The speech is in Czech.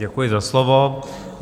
Děkuji za slovo.